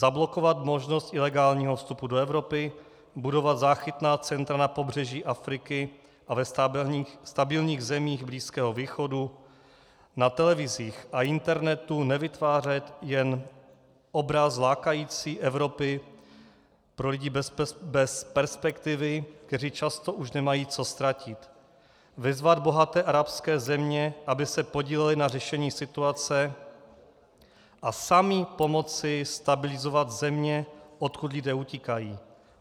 Zablokovat možnost ilegálního vstupu do Evropy, budovat záchytná centra na pobřeží Afriky a ve stabilních zemích Blízkého východu, na televizích a internetu nevytvářet jen obraz lákající Evropy pro lidi bez perspektivy, kteří často už nemají co ztratit, vyzvat bohaté arabské země, aby se podílely na řešení situace, a sami pomoci stabilizovat země, odkud lidé utíkají.